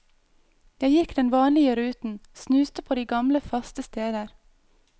Jeg gikk den vanlige ruten, snuste på de gamle, faste steder.